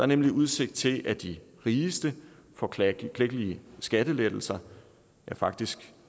nemlig udsigt til at de rigeste får klækkelige skattelettelser faktisk